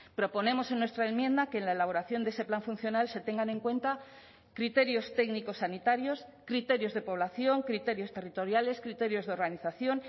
proponemos en nuestra enmienda que en la elaboración de ese plan funcional se tengan en cuenta criterios técnicos sanitarios criterios de población criterios territoriales criterios de organización